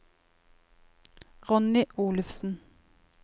Ronny Olufsen